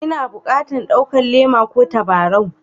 N'na bukatan ɗaukan Le'ma ko tabarau?